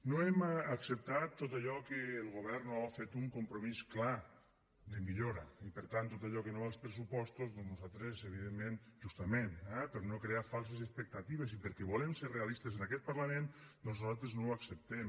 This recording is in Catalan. no hem acceptat tot allò que el govern no ha fet un compromís clar de millora i per tant tot allò que no va als pressupostos doncs nosaltres evidentment justament eh per no crear falses expectatives i perquè volem ser realistes en aquest parlament doncs nosaltres no ho acceptem